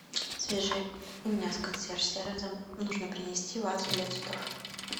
свяжи меня с консьерж сервисом нужно принести вазу для цветов